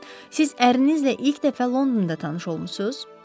Siz ərvinizlə ilk dəfə Londonda tanış olmusunuz?